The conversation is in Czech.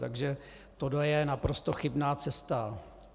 Takže tohle je naprosto chybná cesta.